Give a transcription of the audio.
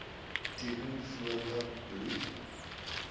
teken voordat bloed